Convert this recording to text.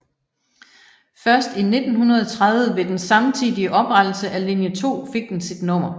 Først i 1930 ved den samtidige oprettelse af linje 2 fik den sit nummer